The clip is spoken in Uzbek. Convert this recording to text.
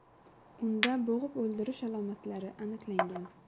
Unda bo‘g‘ib o‘ldirish alomatlari aniqlangan.